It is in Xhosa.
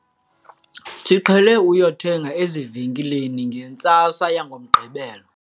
siqhele ukuya kuthenga ezivenkileni ngentsasa yangoMgqibelo